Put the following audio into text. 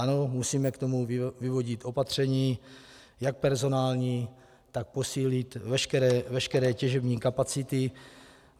Ano, musíme k tomu vyvodit opatření jak personální, tak posílit veškeré těžební kapacity.